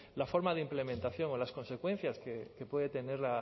la forma de implementación o las consecuencias que puede tener